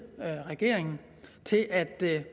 regeringen til at